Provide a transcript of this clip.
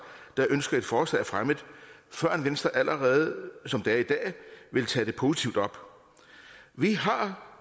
der ønsker et forslag fremmet før venstre allerede er i dag vil tage det positivt op vi har